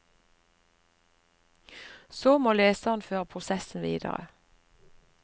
Så må leseren føre prosessen videre.